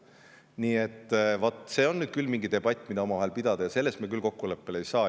See on nüüd küll debatt, mida omavahel pidada, ja selles me küll kokkuleppele ei jõua.